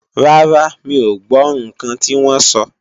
Rárá, mi ò gbọ́ ǹkan tí wọ́n sọ